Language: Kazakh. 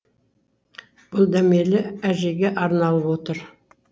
бұл дәмелі әжеге арналып отыр